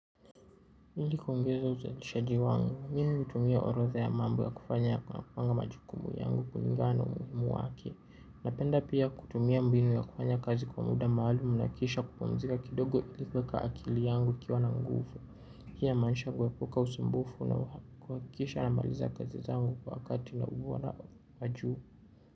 Hili kuongeza uzalishaji wangu, mimi hutumia orodha ya mambo ya kufanya ama majukumu yangu kulingana na umuhimu wake. Napenda pia kutumia mbinu ya kufanya kazi kwa muda maalumu na kisha kupumzika kidogo ili kueka akili yangu ikiwa na nguvu. Hii inamaanisha kuepuka usumbufu na kuhakikisha namaliza kazi zangu kwa wakati na ubora wa juu.